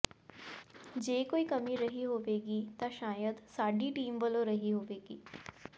ਜੇ ਕੋਈ ਕਮੀ ਰਹੀ ਹੋਵੇਗੀ ਤਾਂ ਸ਼ਾਇਦ ਸਾਡੀ ਟੀਮ ਵੱਲੋਂ ਰਹੀ ਹੋਵੇਗੀ